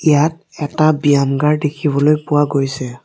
ইয়াত এটা বিয়াম ঘৰ দেখিবলৈ পোৱা গৈছে।